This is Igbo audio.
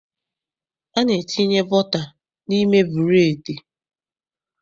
A na-etinye bọta n'ime bụreedị.